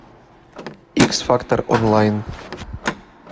икс фактор онлайн